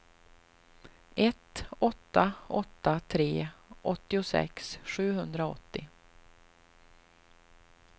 ett åtta åtta tre åttiosex sjuhundraåttio